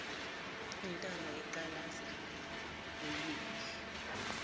intamo eqalaza uyephi